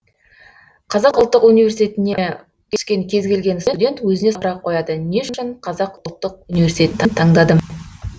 қазақ ұлттық университетіне түскен кез келген студент өзіне сұрақ қояды не үшін қазақ ұлттық университетті таңдадым